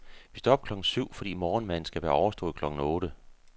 Vi står op klokken syv, fordi morgenmaden skal være overstået klokken otte.